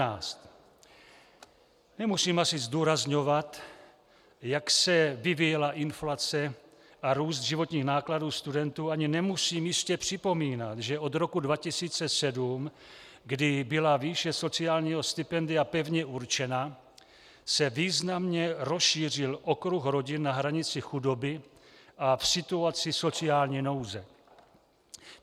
Nemusím asi zdůrazňovat, jak se vyvíjela inflace a růst životních nákladů studentů, ani nemusím jistě připomínat, že od roku 2007, kdy byla výše sociálního stipendia pevně určena, se významně rozšířil okruh rodin na hranici chudoby a v situaci sociální nouze.